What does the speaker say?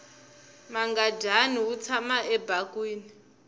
mangadyani wu tshama ebakweni